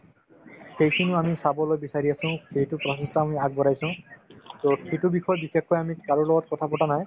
সেইখিনিও আমি চাবলৈ বিচাৰি আছো সেইটো প্ৰচেষ্টা আমি আগবঢ়াইছো to সিটো বিষয়ত বিশেষকৈ আমি কাৰো লগত কথা পতা নাই